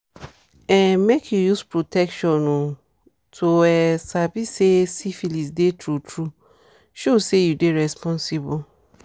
um make you use protection oh to um sabi say syphilis dey true true show say you dey responsible